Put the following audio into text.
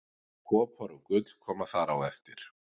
Kopar og gull koma þar á eftir.